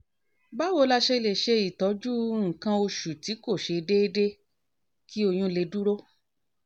báwo la ṣe lè ṣe ìtọ́jú nǹkan oṣù tí kò ṣe déédé kí oyún lè dúró?